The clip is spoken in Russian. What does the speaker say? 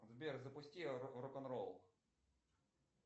сбер запусти рок н ролл